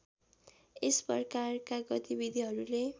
यस प्रकारका गतिविधीहरूले